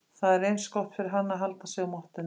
Það sé eins gott fyrir hann að halda sig á mottunni.